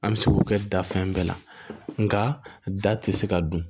An bɛ se k'o kɛ da fɛn bɛɛ la nka da tɛ se ka dun